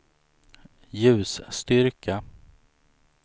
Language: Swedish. ljusstyrka